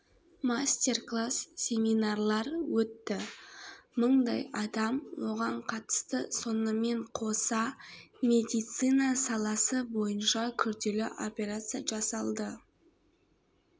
мастер класс семинарлар өтті мыңдай адам оған қатысты сонымен қоса медицина саласы бойынша күрделі операция жасалды